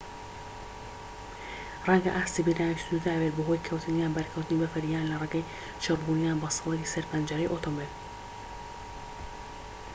ڕەنگە ئاستی بینراویی سنووردار بێت بەهۆی کەوتن یان بەرکەوتنی بەفر یان لە ڕێگەی چڕبوون یان بەستەڵەکی سەر پەنجەرەی ئۆتۆمبێل